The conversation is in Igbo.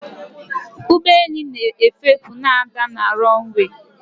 ụgbọelu na-ewepụ na ada na runway